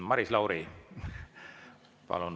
Maris Lauri, palun!